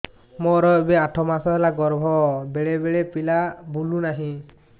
ମୋର ଏବେ ଆଠ ମାସ ଗର୍ଭ ବେଳେ ବେଳେ ପିଲା ବୁଲୁ ନାହିଁ